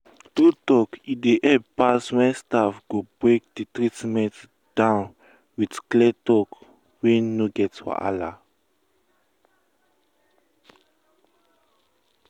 true talk e dey help pass when staff go break the treatment down with clear talk wey no get wahala.